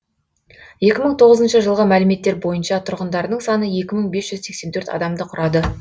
екі мың тоғызыншы жылғы мәліметтер бойынша тұрғындарының саны екі мың бес жүз сексен төрт адамды құрады